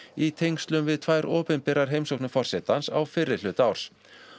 í tengslum við tvær opinberar heimsóknir forsetans á fyrri hluta árs